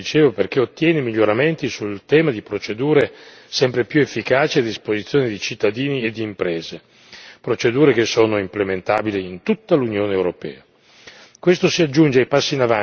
Risultato importante per il Parlamento, dicevo, perché ottiene miglioramenti sul tema di procedure sempre più efficaci a disposizione di cittadini ed imprese, procedure che sono implementabili in tutta l'Unione europea.